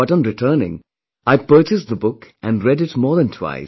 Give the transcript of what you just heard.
But on returning, I purchased the book and read it more than twice